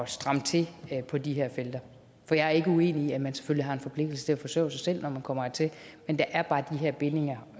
stramme til på de her felter for jeg er ikke uenig i at man selvfølgelig har en forpligtelse til at forsørge sig selv når man kommer hertil men der er bare de her bindinger